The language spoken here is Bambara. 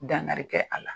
Dangari kɛ a la